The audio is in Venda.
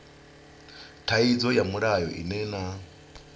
thaidzo ya mulayo ine na